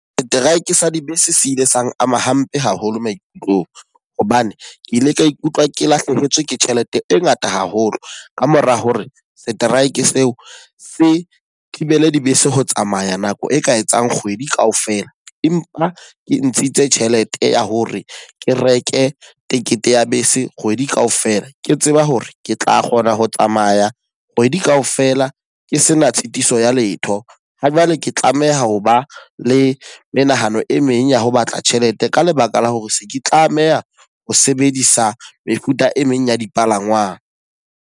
Strike sa dibese se ile sang ama hampe haholo maikutlong. Hobane ke ile ka ikutlwa ke lahlehetswe ke tjhelete e ngata haholo ka mora hore strike seo se thibele dibese ho tsamaya nako e ka etsang kgwedi ka ofela, empa ke ntshitse tjhelete ya hore ke reke tekete ya bese kgwedi ka ofela. Ke tseba hore ke tla kgona ho tsamaya kgwedi ka ofela ke sena tshitiso ya letho. Ha jwale ke tlameha ho ba le menahano e meng ya ho batla tjhelete, ka lebaka la hore se ke tlameha ho sebedisa mefuta e meng ya dipalangwang.